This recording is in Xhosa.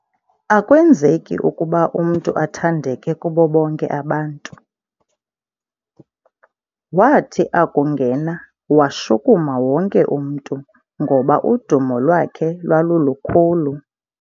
Akwenzeki ukuba umntu athandeke kubo bonke abantu. wathi akungena washukuma wonke umntu ngoba udumo lwakhe lwalulukhulu